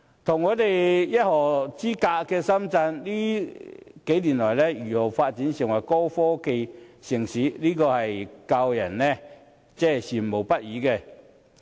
與我們一河之隔的深圳，這些年來如何發展成為高科技城市，更是教人羨慕不已。